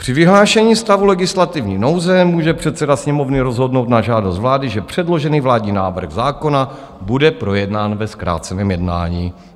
Při vyhlášení stavu legislativní nouze může předseda Sněmovny rozhodnout na žádost vlády, že předložený vládní návrh zákona bude projednán ve zkráceném jednání.